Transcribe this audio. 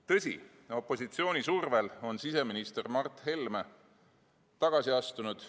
Tõsi, opositsiooni survel on siseminister Mart Helme tagasi astunud.